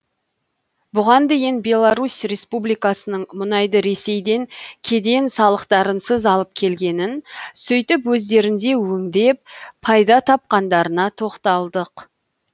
бұған дейін беларусь республикасының мұнайды ресейден кеден салықтарынсыз алып келгенін сөйтіп өздерінде өңдеп пайда тапқандарына тоқталдық